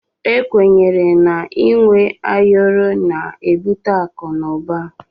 Ekwenye na inwe ayọrọ na ebute akụ na uba.